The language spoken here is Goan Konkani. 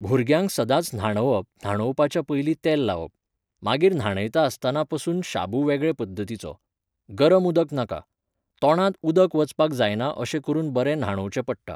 भुरग्यांक सदांच न्हाणवप न्हाणोवपाच्या पयलीं तेल लावप. मागीर न्हणयता आसतना पसून शाबू वेगळे पध्दतीचो. गरम उदक नाका. तोंडात उदक वचपाक जायना अशें करुन बरें न्हाणोवचे पडटा